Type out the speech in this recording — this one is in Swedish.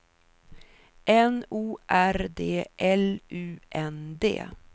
N O R D L U N D